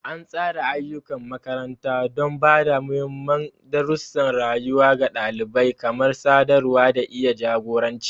An tsara ayyukan makaranta don ba da muhimman darussan rayuwa ga ɗalibai, kamar sadarwa da iya jagoranci.